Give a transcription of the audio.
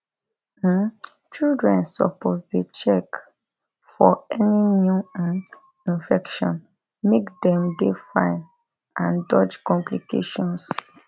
um children supposedey check for any new um infection make dem dey fine and dodge complications